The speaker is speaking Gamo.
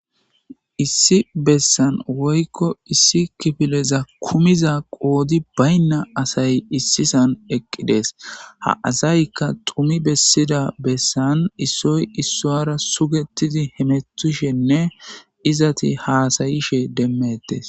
Issi bessan woykko issi kifileza kumiza qoodi baynna asay issisan eqqidees ha asaykka tumi bessida bessan issoy issoara sugetidi hemetishenne izati haasayishe demmetes.